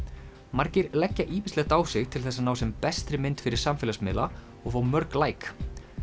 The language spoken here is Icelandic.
margir leggja ýmislegt á sig til þess að ná sem bestri mynd fyrir samfélagsmiðla og fá mörg læk